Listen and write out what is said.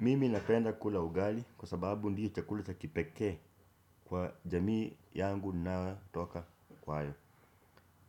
Mimi nakenda kula ugali kwa sababu ndiyo chakula cha kipeke kwa jamii yangu ninayotoka kwayo.